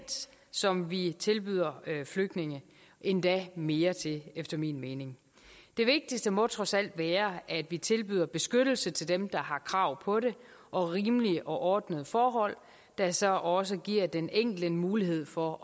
som vi tilbyder flygtninge endda mere til efter min mening det vigtigste må trods alt være at vi tilbyder beskyttelse til dem der har krav på det og rimelige og ordnede forhold der så også giver den enkelte mulighed for